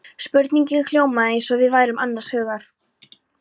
Spurningin hljómaði eins og við værum annars hugar.